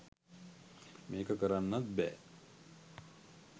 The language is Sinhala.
මේක කරන්නත් බෑ.